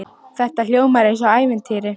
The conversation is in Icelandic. Þetta hljómar eins og í ævintýri.